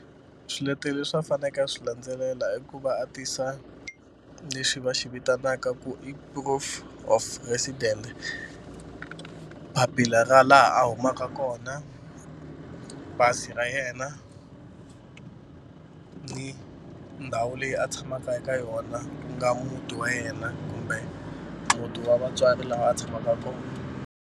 Swiletelo leswi a fanekele a swi landzelela i ku va a tisa lexi va xi vitanaka ku i proof of resident papila ra laha a humaka kona pasi ra yena ni ndhawu leyi a tshamaka eka yona ku nga muti wa yena kumbe muti wa vatswari laha a tshamaka kona.